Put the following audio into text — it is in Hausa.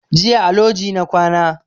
Jiya a loji na kwana